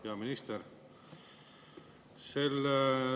Hea minister!